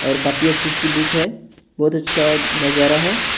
और काफी अच्छी अच्छी बुक है बहुत अच्छा नज़ारा है ।